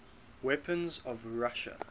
weapons of russia